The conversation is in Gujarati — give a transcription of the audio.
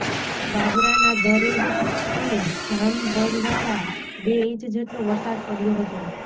બાબરાના દરેડ અને જામબરવાળા બે ઇંચ જેટલો વરસાદ પડ્યો હતો